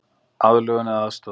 Aðlögun eða aðstoð